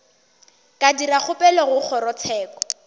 ka dira kgopelo go kgorotsheko